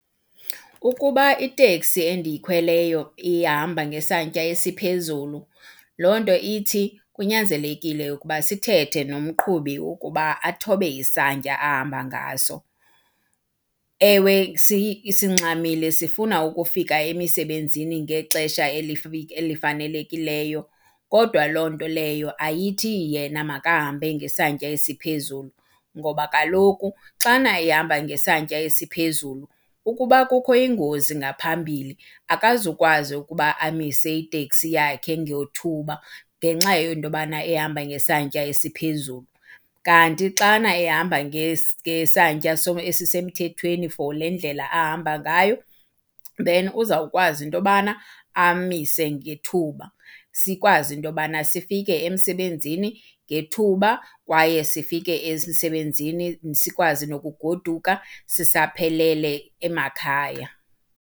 Ukuba iteksi endiyikhweleyo ihamba ngesantya esiphezulu, loo nto ithi kunyanzelekile ukuba sithethe nomqhubi ukuba athobe isantya ahamba ngaso. Ewe, singxamile sifuna ukufika emisebenzini ngexesha elifanelekileyo kodwa loo nto leyo ayithi yena makahambe ngesantya esiphezulu. Ngoba kaloku xana ehamba ngesantya esiphezulu ukuba kukho ingozi ngaphambili akazukwazi ukuba amise iteksi yakhe ngethuba ngenxa yento yobana ehamba ngesantya esiphezulu. Kanti xana ehamba ngesantya esisemthethweni for le ndlela ahamba ngayo then uzawukwazi into yobana amise ngethuba sikwazi into yobana sifike emsebenzini ngethuba kwaye sifike emsebenzini sikwazi nokugoduka sisaphelele emakhaya.